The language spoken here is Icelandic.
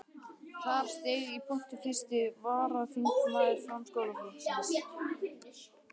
Þar steig í pontu fyrsti varaþingmaður Framsóknarflokksins.